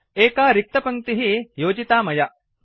एका रिक्तपङ्क्तिः योजिता मया